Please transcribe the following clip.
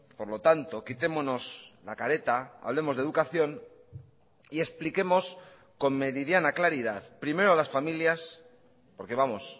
por lo tanto quitémonos la careta hablemos de educación y expliquemos con meridiana claridad primero a las familias porque vamos